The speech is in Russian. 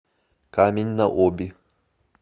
камень на оби